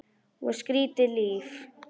Og skrýtið líf.